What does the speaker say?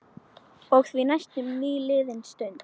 Og því næst nýliðin stund.